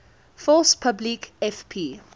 force publique fp